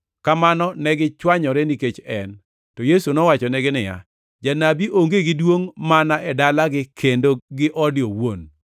Kamano negichwanyore nikech en. To Yesu nowachonegi niya, “Janabi onge gi duongʼ mana e dalagi kendo gi ode owuon.”